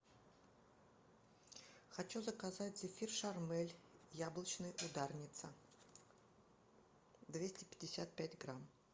хочу заказать зефир шармель яблочный ударница двести пятьдесят грамм